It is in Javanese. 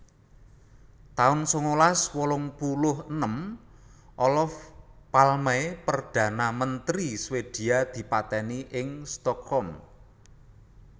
taun sangalas wolung puluh enem Olof Palme Perdana Menteri Swedia dipatèni ing Stockholm